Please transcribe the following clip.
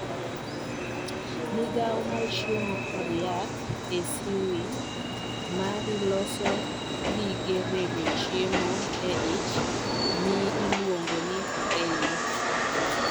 Migawo mar chiemo kod yath Acwiny mari loso gige rego chiemo e ich ma iluongo ni bile.